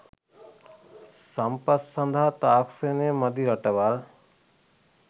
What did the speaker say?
සම්පත් සඳහා තාක්ෂණය මදි රටවල්